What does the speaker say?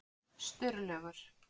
Sturlaugur